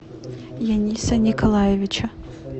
яниса николаевича